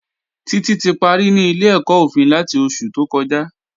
Títí ti parí ní ilé-ẹ̀kọ́ òfin láti oṣù tó kọjá